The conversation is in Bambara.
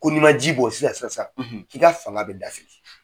Ko n'i man ji bɔn sisan sisan sisan k'i ka fanga bɛ dafiri.